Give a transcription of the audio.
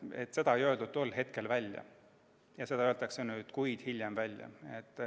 Seda ei öeldud tol hetkel välja, seda öeldakse nüüd, mitu kuud hiljem välja.